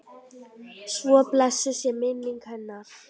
Svo blessuð sé minning hennar.